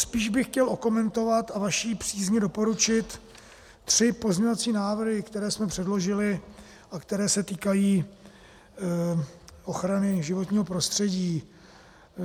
Spíš bych chtěl okomentovat a vaší přízni doporučit tři pozměňovací návrhy, které jsme předložili a které se týkají ochrany životního prostředí.